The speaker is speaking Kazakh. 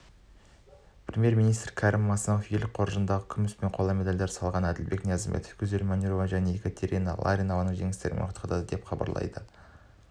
премьер-министрі кәрім мәсімов ел қоржынына күміс және қола медальдар салған әділбек ниязымбетов гүзел манюрова және екатерина ларионованы жеңістерімен құттықтады деп хабарлайды